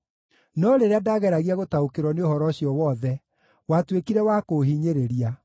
No rĩrĩa ndageragia gũtaũkĩrwo nĩ ũhoro ũcio wothe, watuĩkire wa kũũhinyĩrĩria,